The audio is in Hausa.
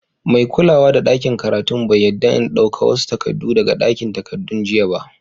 Mai kulawa da dakin karatun bai yadda n dauka wasu takadu daga dakin takadun jiya ba.